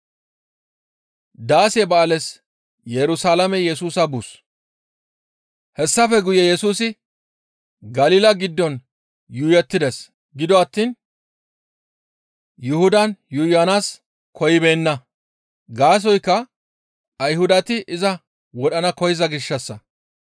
Hessafe guye Yesusi Galila giddon yuuyettides; gido attiin Yuhudan yuuyanaas koyibeenna. Gaasoykka Ayhudati iza wodhdhana koyza gishshassa.